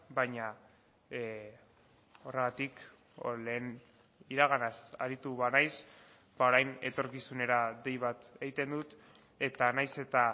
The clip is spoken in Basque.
baina horregatik lehen iraganaz aritu banaiz orain etorkizunera dei bat egiten dut eta nahiz eta